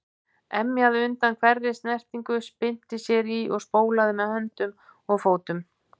Emjaði undan hverri snertingu, spyrnti sér í og spólaði með höndum og fótum.